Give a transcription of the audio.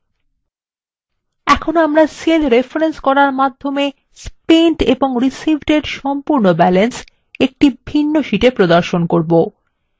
এখন আমরা cell reference করার মাধ্যমে spent এবং received এর সম্পূর্ণ balance একটি ভিন্ন শীটে প্রদর্শন করবো